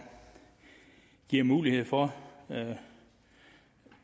giver mulighed for at